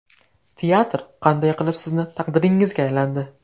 Teatr qanday qilib sizni taqdiringizga aylandi?